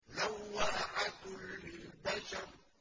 لَوَّاحَةٌ لِّلْبَشَرِ